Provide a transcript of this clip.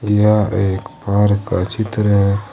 यह एक पार्क का चित्र है।